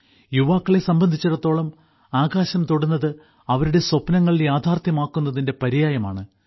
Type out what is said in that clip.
യുവാക്കളെ സംബന്ധിച്ചിടത്തോളം ആകാശം തൊടുന്നത് അവരുടെ സ്വപ്നങ്ങൾ യാഥാർത്ഥ്യമാക്കുന്നതിന്റെ പര്യായമാണ്